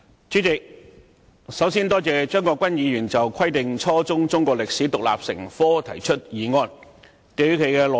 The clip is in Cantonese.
主席，首先，我多謝張國鈞議員就"規定初中中國歷史獨立成科"提出議案。